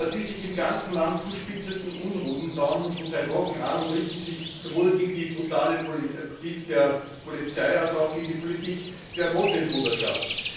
Die sich im ganzen Land zuspitzenden Unruhen dauern nun schon seit Wochen an und richten sich sowohl gegen das brutale Vorgehen der Polizei als auch gegen die Politik der Moslembruderschaft.